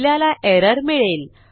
आपल्याला एरर मिळेल